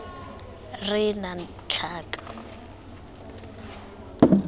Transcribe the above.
r e e nnang tlhaka